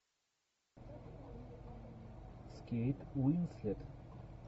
с кейт уинслет